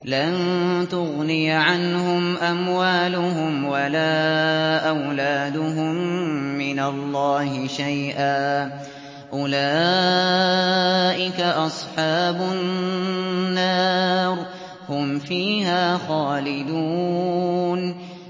لَّن تُغْنِيَ عَنْهُمْ أَمْوَالُهُمْ وَلَا أَوْلَادُهُم مِّنَ اللَّهِ شَيْئًا ۚ أُولَٰئِكَ أَصْحَابُ النَّارِ ۖ هُمْ فِيهَا خَالِدُونَ